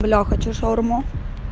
бля я хочу шаурму